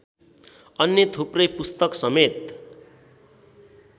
अन्य थुप्रै पुस्तकसमेत